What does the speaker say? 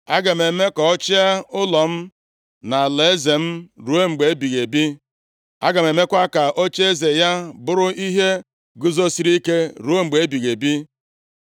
Aga m eme ka ọ chịa ụlọ m na nʼalaeze m ruo mgbe ebighị ebi. A ga-emekwa ka ocheeze ya bụrụ ihe guzosiri ike ruo mgbe ebighị ebi.’ ”